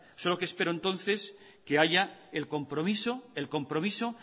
solo que espero entonces que haya el compromiso